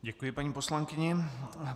Děkuji paní poslankyni.